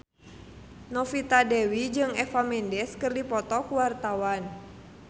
Novita Dewi jeung Eva Mendes keur dipoto ku wartawan